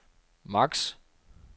maks